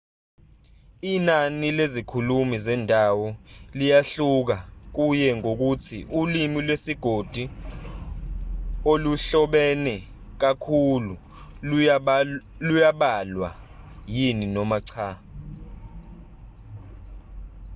inani lezikhulumi zendawo liyahluka kuye ngokuthi ulimi lwesigodi oluhlobene kakhulu luyabalwa yini noma cha